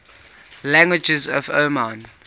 languages of oman